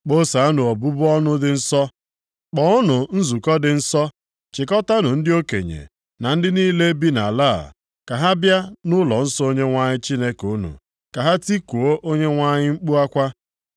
Kpọsaanụ obubu ọnụ dị nsọ. Kpọọnụ nzukọta dị nsọ. Chịkọtaanụ ndị okenye na ndị niile bi nʼala a, ka ha bịa nʼụlọnsọ Onyenwe anyị Chineke unu; ka ha tikuo Onyenwe anyị mkpu akwa.